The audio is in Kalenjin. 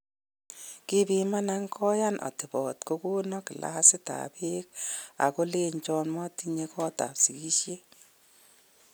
Kipimanan, koyaan otebot, kokonon kilasit ab peek ako lenchon motinye kotab sigishet.